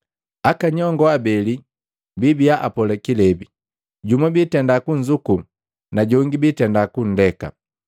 Aka nyongo abeli biibiya apola kilebi, jumu biitenda kunzuku na jongi biitenda kundeka.